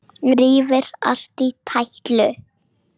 Rífur allt í tætlur.